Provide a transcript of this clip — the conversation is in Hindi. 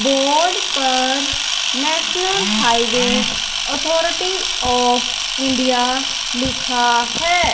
बॉर्ड पर national highway authority of India लिखा हैं।